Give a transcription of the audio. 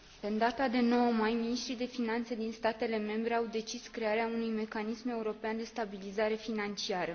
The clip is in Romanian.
În data de 9 mai, miniștrii de finanțe din statele membre au decis crearea unui mecanism european de stabilizare financiară.